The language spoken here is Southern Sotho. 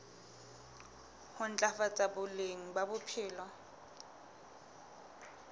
ho ntlafatsa boleng ba bophelo